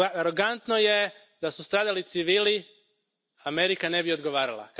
Arogantno je da su stradali civili, Amerika ne bi odgovarala.